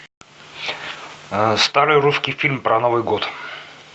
старый русский фильм про новый год